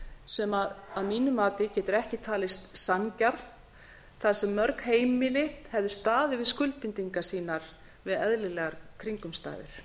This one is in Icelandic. sem að mínu mati getur ekki talist sanngjarnt þar sem mörg heimili hefðu staðið við skuldbindingar sínar við eðlilegar kringumstæður